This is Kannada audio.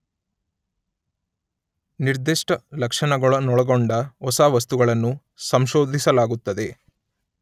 ನಿರ್ದಿಷ್ಟ ಲಕ್ಷಣಗಳನ್ನೊಳಗೊಂಡ ಹೊಸ ವಸ್ತುಗಳನ್ನು ಸಂಶೋಧಿಸಲಾಗುತ್ತದೆ